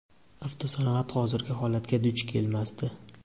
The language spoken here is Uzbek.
avto sanoat hozirgi holatga duch kelmasdi.